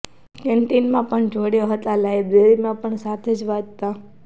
canteen માં પણ જોડે હતા અને લાઇબ્રેરિ માં પણ સાથે જ વાંચતાં